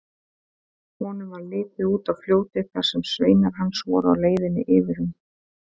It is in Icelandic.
Honum varð litið út á fljótið þar sem sveinar hans voru á leiðinni yfir um.